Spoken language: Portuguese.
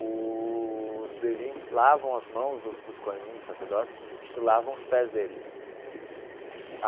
Os Levin lavam as mãos do dos kohanim, dos sacerdotes, e lavam os pés deles.